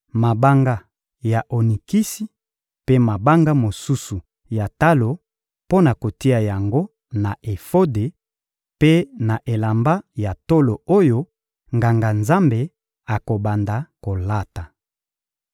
mabanga ya onikisi mpe mabanga mosusu ya talo mpo na kotia yango na efode mpe na elamba ya tolo oyo Nganga-Nzambe akobanda kolata.